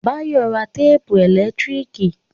Báyọ̀ rà téèpù ẹ̀lẹ́tíríkì